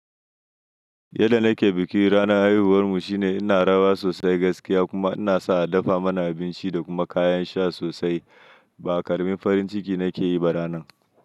Yadda nake biki ranar haihuwarmu shine ina rawa sosai gaskiya kuma inasa a dafa mana abinci da kuma kayan sha sosai. Ba ƙaramin farin ciki nake yi ba ranan.